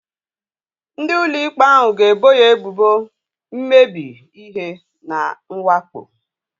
Ndị ụlọ ikpe ahu ga-ebo ya ebubo mmebi ihe na mwakpo